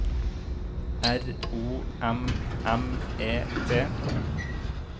R O M M E T